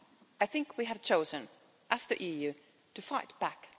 I think we have chosen as the EU to fight back.